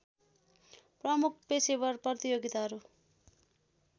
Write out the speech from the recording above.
प्रमुख पेशेवर प्रतियोगिताहरू